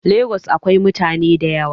Lagos akwai mutane da yawa.